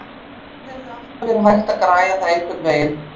Það hefði alltaf verið hægt að græja það einhvernveginn.